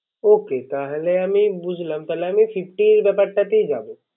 Okay তাহলে আমি বুঝলাম তাহলে Fifty এ ব্যাপারটাতেই যাবো।